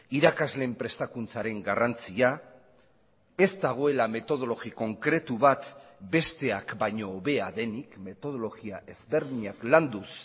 irakasleen prestakuntzaren garrantzia ez dagoela metodologi konkretu bat besteak baino hobea denik metodologia ezberdinak landuz